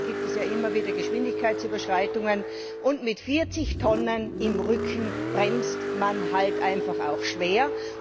Auch hier gibt es ja immer wieder Geschwindigkeitsüberschreitungen, und mit 40 Tonnen im Rücken bremst man halt einfach auch schwer.